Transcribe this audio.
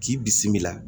K'i bisimila